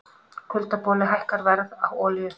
Kuldaboli hækkar verð á olíu